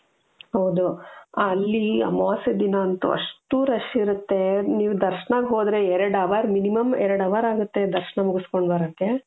ಹೌದು ಅಲ್ಲಿ ಅಮಾವಾಸ್ಯೆ ದಿನ ಅಂತೂ ಅಷ್ಟೂ rush ಇರುತ್ತೆ ನೀವು ದರ್ಶನಗೆ ಹೋದ್ರೆ ಎರಡ್ hour minimum ಎರಡ್ hour ಆಗುತ್ತೆ ದರ್ಶನ ಮುಗಿಸಿಕೊಂಡು ಬರಕ್ಕೆ .